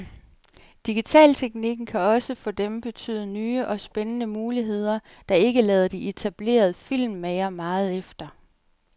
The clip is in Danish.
Digitalteknikken kan også for dem betyde nye og spændende muligheder, der ikke lader de etablerede filmmagere meget efter.